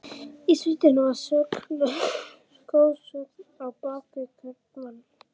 Í sveitinni var goðsögn á bak við hvern mann.